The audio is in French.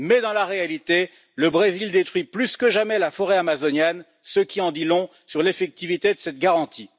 Mais, en réalité, le Brésil détruit plus que jamais la forêt amazonienne, ce qui en dit long sur l'effectivité de cette garantie.